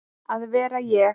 að vera ég.